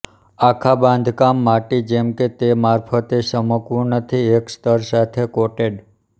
આખા બાંધકામ માટી જેમ કે તે મારફતે ચમકવું નથી એક સ્તર સાથે કોટેડ